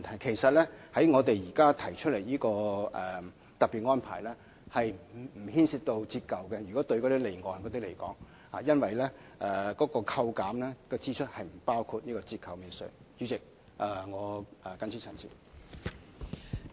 其實，我們現時提出的特別安排，就離岸的情況而言，並不牽涉折舊，因為扣減支出並不包括折舊免稅額。